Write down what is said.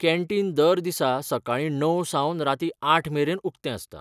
Canteen दर दिसा सकाळीं णव सावन रातीं आठ मेरेन उक्तें आसता.